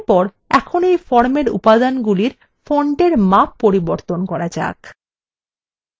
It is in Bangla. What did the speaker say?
এরপর এখন এই ফর্মের উপাদানগুলি ফন্টের মাপ পরিবর্তন করা যাক